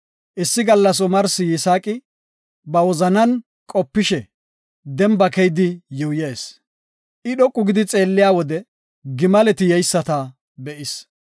Issi gallas omarsi Yisaaqi ba wozanan qopishe demba keyidi yuuyees; I dhoqu gidi xeelliya wode, gimaleti yeyisata be7is.